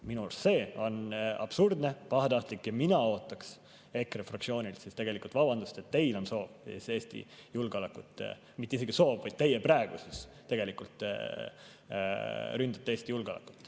Minu arust see on absurdne, pahatahtlik ja mina ootaksin EKRE fraktsioonilt tegelikult vabandust, et teil on soov Eesti julgeolekut – mitte isegi soov, vaid te praegu tegelikult ründate Eesti julgeolekut.